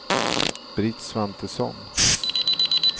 Britt Svantesson